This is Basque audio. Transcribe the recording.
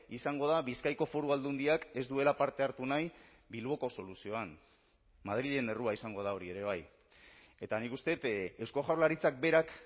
izango da bizkaiko foru aldundiak ez duela parte hartu nahi bilboko soluzioan madrilen errua izango da hori ere bai eta nik uste dut eusko jaurlaritzak berak